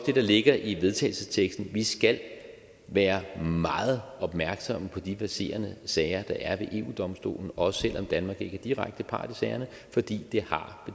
det der ligger i vedtagelsesteksten vi skal være meget opmærksomme på de verserende sager der er ved eu domstolen også selv om danmark ikke er direkte part i sagerne fordi det har